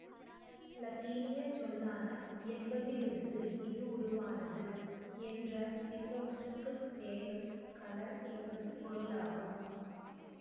இலத்தீனியச் சொல்லான என்பதிலிருந்து இது உருவானது என்ற பின்னொட்டுக்கு பேணும் கலன் என்பது பொருளாகும்